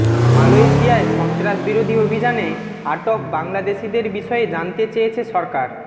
মালয়েশিয়ায় সন্ত্রাসবিরোধী অভিযানে আটক বাংলাদেশিদের বিষয়ে জানতে চেয়েছে সরকার